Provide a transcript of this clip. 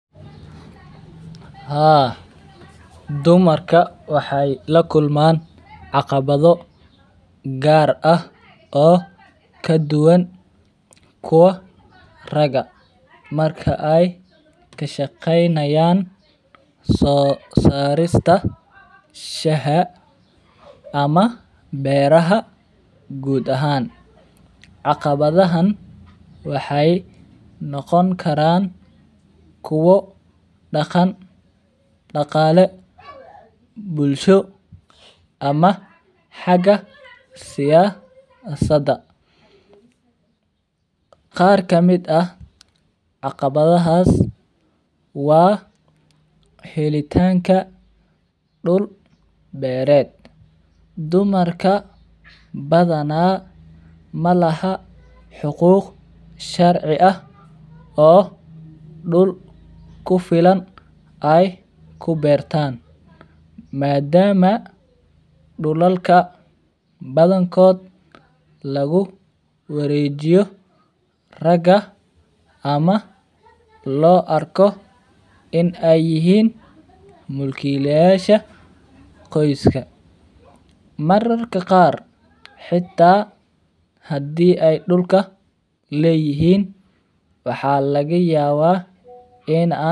Haa dumarka waheylakulman caqabatho gaar ah oo kaduwan kuwa raga marka ey kashaqeynayan sosarista shaha ama beraha gud ahaan caqabathahan waxey noqon karan kuwo daqan daqale bulsho ama haga siyasada ,qar kamid ah caqabathahas wa helitanka dul bereed, dumarka bathanaa malahan xuquuq sharcii ah oo dull kufilan ay kubertaan maadama dulalka bathankood laguwarejiyo raga ama lo arkoo in ey yihiin mulkilayasha qoyska mararka qaar htaa hadi ey dulka leyihiin waxalagayabaa in aaa